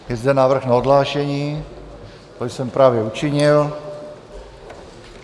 Je zde návrh na odhlášení, to jsem právě učinil.